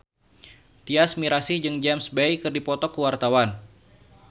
Tyas Mirasih jeung James Bay keur dipoto ku wartawan